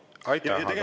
Aitäh, aga …